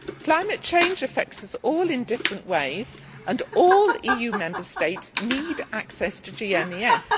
Climate change affects us all in different ways and all EU Member States need access to GMES.